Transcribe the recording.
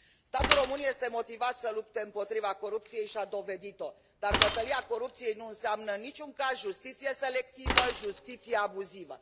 Statul român este motivat să lupte împotriva corupției și a dovedit o, dar bătălia corupției nu înseamnă în niciun caz justiție selectivă, justiție abuzivă.